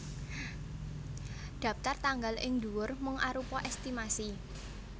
Dhaptar tanggal ing ndhuwur mung arupa èstimasi